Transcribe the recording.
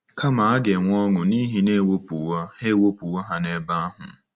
Kama, a ga-enwe ọṅụ n'ihi na e wepụwo ha wepụwo ha n'ebe ahụ.